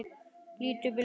Lít upp í loftið.